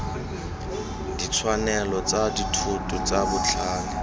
ditshwanelo tsa dithoto tsa botlhale